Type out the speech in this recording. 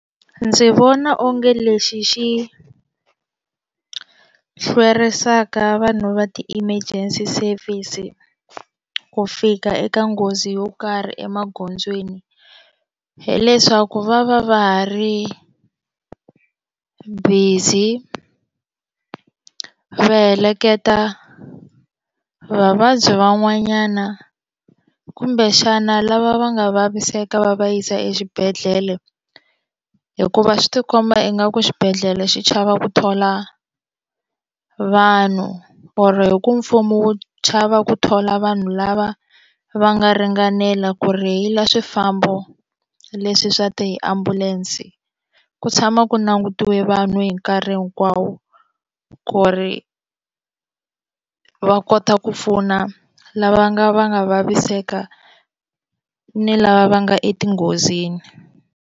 Ndzi vona onge lexi xi hlwerisaka vanhu va ti-emergency service ku fika eka nghozi yo karhi emagondzweni hileswaku va va va ha ri busy va heleketa vavabyi van'wanyana kumbe xana lava va nga vaviseka va va yisa exibedhlele hikuva swi tikomba ingaku xibedhlele xi chava ku thola vanhu or hi ku mfumo wu chava ku thola vanhu lava va nga ringanela ku rheyila swifambo leswi swa tiambulense ku tshama ku langutiwe vanhu hi nkarhi hinkwawo ku ri va kota ku pfuna lava nga nga vaviseka ni lava va nga etinghozini.